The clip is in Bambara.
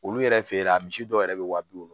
Olu yɛrɛ fe la misi dɔw yɛrɛ be wa bi wolon